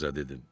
qıza dedim.